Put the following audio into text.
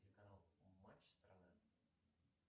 телеканал матч страна